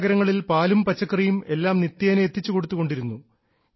സമീപ നഗരങ്ങളിൽ പാലും പച്ചക്കറിയും എല്ലാം നിത്യേന എത്തിച്ചുകൊടുത്തു കൊണ്ടിരുന്നു